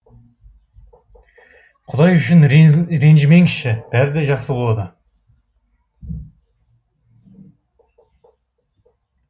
құдай үшін ренжімеңізші бәрі де жақсы болады